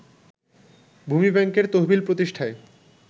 ভূমি ব্যাংকের তহবিল প্রতিষ্ঠায়